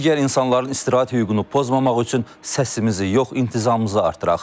Digər insanların istirahət hüququnu pozmamaq üçün səsimizi yox, intizamımızı artıraq.